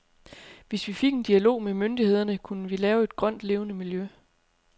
Hvis vi fik en dialog med myndighederne, kunne vi lave et grønt, levende miljø.